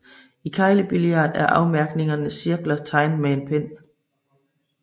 I keglebillard er afmærkningernes cirkler tegnet med pen